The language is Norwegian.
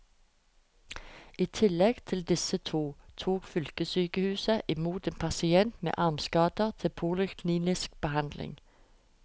I tillegg til disse to tok fylkessykehuset i mot en pasient med armskader til poliklinisk behandling.